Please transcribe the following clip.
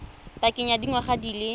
pakeng ya dingwaga di le